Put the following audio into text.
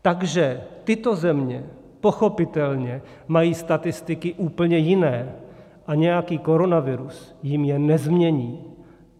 Takže tyto země pochopitelně mají statistiky úplně jiné a nějaký koronavirus jim je nezmění.